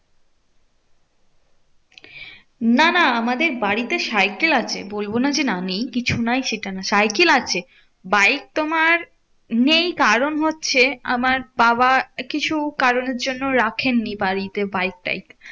না না আমাদের বাড়িতে সাইকেল আছে। বলবো না যে না নেই কিছু নাই সেটা না। সাইকেল আছে বাইক তোমার নেই, কারণ হচ্ছে আমার বাবার কিছু কারণের জন্য রাখেন নি বাড়িতে বাইক টাইক।